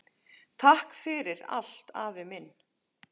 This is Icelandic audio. Takk fyrir allt, afi minn.